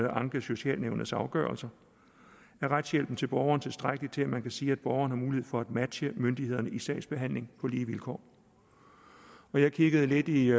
anke socialnævnets afgørelser er retshjælpen til borgeren tilstrækkelig til at man kan sige at borgeren har mulighed for at matche myndighederne i sagsbehandling på lige vilkår jeg kiggede lidt i